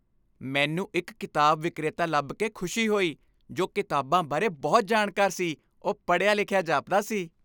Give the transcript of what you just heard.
ਮੈਨੂੰ ਇੱਕ ਕਿਤਾਬ ਵਿਕਰੇਤਾ ਲੱਭ ਕੇ ਖੁਸ਼ੀ ਹੋਈ ਜੋ ਕਿਤਾਬਾਂ ਬਾਰੇ ਬਹੁਤ ਜਾਣਕਾਰ ਸੀ ਉਹ ਪੜ੍ਹਿਆ ਲਿਖਿਆ ਜਾਪਦਾ ਸੀ